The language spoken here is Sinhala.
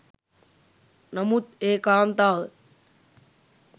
නමුත් ඒ කාන්තාව